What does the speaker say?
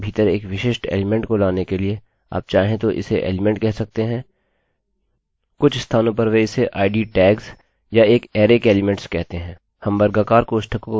अबएक अरैarray के भीतर एक विशिष्ट एलीमेंट को लाने के लिए आप चाहें तो इसे एलीमेंट कह सकते हैं कुछ स्थानों पर वे इसे id tags या एक अरैarrayके एलीमेंट्स कहते हैं